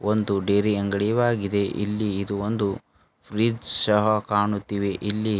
ಒಂದು ಡೈರಿಯ ಅಂಗಡಿಯವಾಗಿದೆ ಇಲ್ಲಿ ಇದು ಒಂದು ಫ್ರಿಡ್ಜ್ ಸಹ ಕಾಣುತ್ತಿವೆ ಇಲ್ಲಿ--